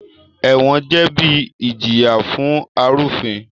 Ẹ̀wọ̀n jẹ́ ibi ìjìyà fún arúfin